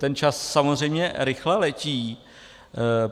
Ten čas samozřejmě rychle letí.